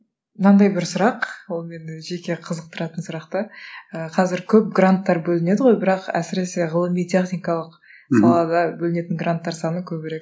мынандай бір сұрақ ол мені жеке қызықтыратын сұрақ та ыыы қазір көп гранттар бөлінеді ғой бірақ әсіресе ғылыми техникалық салада бөлінетін гранттар саны көбірек